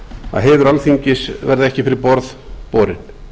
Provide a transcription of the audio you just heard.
að heiður alþingis verði ekki fyrir borð borinn